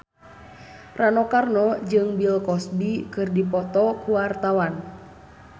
Rano Karno jeung Bill Cosby keur dipoto ku wartawan